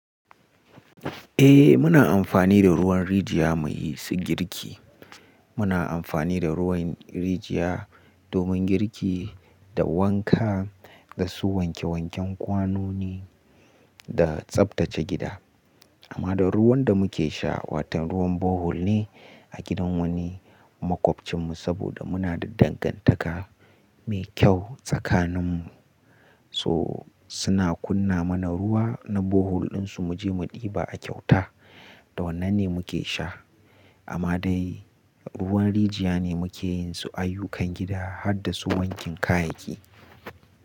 Eh muna amfani da ruwan rijiya muyi su girki. Muna amfani da ruwan rijiya domin girki da wanka, da su wanke wanken kwanoni da tsabtace gida. Amma da ruwan da muke sha watan ruwan bohol ne a gidan wani makwabcinku saboda muna da dangantaka mai kyau tsakaninmu. So suna kunna mana ruwa na bohol ɗinsu muje mu ɗiba a kyauta, da wannan ne muke sha. Amma dai ruwan rijiya ne muke yinsu ayyukan gida harda su wankin kayayyaki.